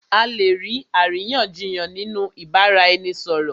À lè ní àríyànjiyàn nínú ìbáraẹnisọ̀rọ̀.